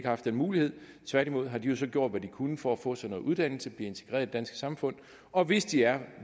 haft den mulighed tværtimod har de jo så gjort hvad de kunne for at få sig noget uddannelse blive integreret i det danske samfund og hvis de er